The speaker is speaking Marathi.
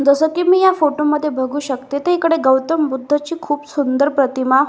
जस की मी या फोटोमध्ये बघू शकते त इकडे गौतम बुद्धाची खूप सुंदर प्रतिमा--